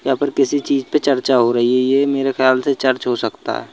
यहां पर किसी चीज पर चर्चा हो रही है ये मेरे ख्याल से चर्च हो सकता है।